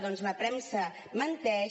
que la premsa menteix